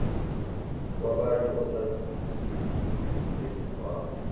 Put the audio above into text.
kwabanye osayizi bezikhwama